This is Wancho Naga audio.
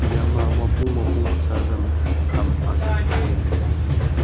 eyama muapong muapong pasa zam ham azam nganley ley tai taiya.